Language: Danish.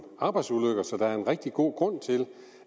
arbejdsulykker så der er en rigtig god grund til